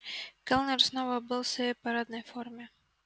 кэллнер снова был в своей парадной форме